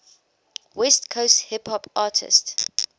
west coast hip hop artists